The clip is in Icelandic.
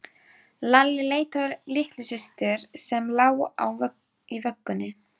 Lalli leit á litlu systur sem lá í vöggunni.